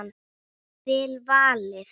Vel valið.